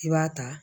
I b'a ta